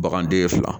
Baganden ye fila